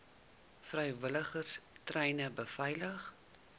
vrywilligers treine beveilig